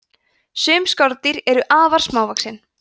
sum skordýr eru afar smávaxin